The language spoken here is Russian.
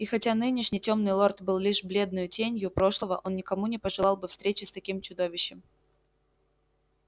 и хотя нынешний тёмный лорд был лишь бледною тенью прошлого он никому не пожелал бы встречи с таким чудовищем